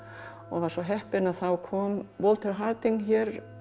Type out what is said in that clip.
var svo heppin að þá kom Walter Harding hér